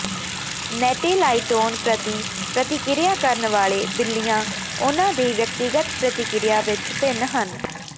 ਨੇਟੈਲਾਈਟੋਨ ਪ੍ਰਤੀ ਪ੍ਰਤੀਕ੍ਰਿਆ ਕਰਨ ਵਾਲੇ ਬਿੱਲੀਆਂ ਉਨ੍ਹਾਂ ਦੇ ਵਿਅਕਤੀਗਤ ਪ੍ਰਤਿਕ੍ਰਿਆ ਵਿੱਚ ਭਿੰਨ ਹਨ